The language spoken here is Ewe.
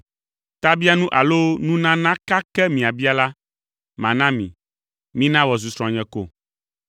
Tabianu alo nunana ka ke miabia la, mana mi; mina wòazu srɔ̃nye ko!”